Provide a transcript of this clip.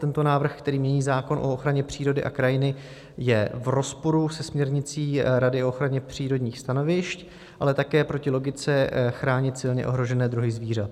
Tento návrh, který mění zákon o ochraně přírody a krajiny, je v rozporu se směrnicí Rady o ochraně přírodních stanovišť, ale také proti logice chránit silně ohrožené druhy zvířat.